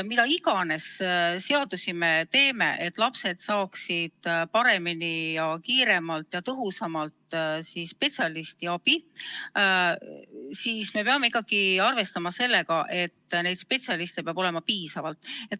Mis iganes seadusi me teeme, et lapsed saaksid paremini, kiiremalt ja tõhusamalt spetsialisti abi, peame me ikkagi arvestama sellega, et neid spetsialiste oleks piisavalt.